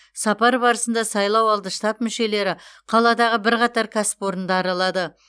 сапар барысында сайлауалды штаб мүшелері қаладағы бірқатар кәсіпорынды аралады